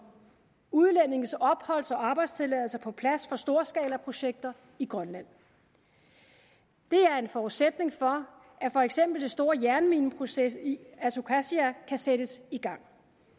udlændinges opholds og arbejdstilladelser på plads for storskalaprojekter i grønland det er en forudsætning for at for eksempel det store jernmineprojekt i isukasia kan sættes i gang